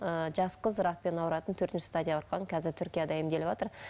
ы жас қыз ракпен ауыратын төртінші стадияға қазір түркияда емделіватыр